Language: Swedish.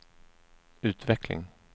utveckling